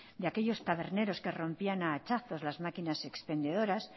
de aquellos taberneros que rompían a hachazos las maquinas expendedoras